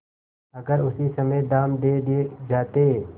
अगर उसी समय दाम दे दिये जाते